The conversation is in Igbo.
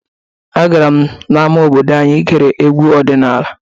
Agara m n'ama obodo anyị igere egwu ọdịnala.